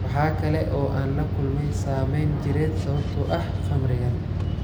Waxa kale oo aan la kulmay saameyn jireed sababtoo ah khamrigan.